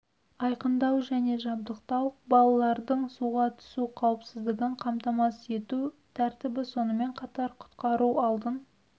айқындау және жабдықтау балалардың суға түсу қауіпсіздігін қамтамасыз ету тәртібі сонымен қатар құтқару алдын